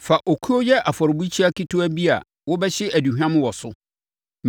“Fa okuo yɛ afɔrebukyia ketewa bi a wobɛhye aduhwam wɔ so.